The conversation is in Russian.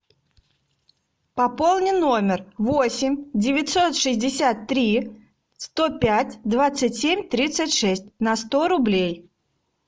пополни номер восемь девятьсот шестьдесят три сто пять двадцать семь тридцать шесть на сто рублей